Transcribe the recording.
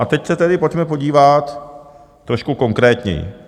A teď se tedy pojďme podívat trošku konkrétněji.